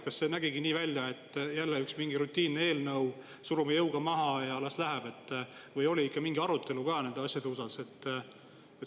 Kas see nägigi nii välja, et jälle mingi rutiinne eelnõu, surume jõuga maha ja las läheb, või oli mingi arutelu ka nende asjade osas?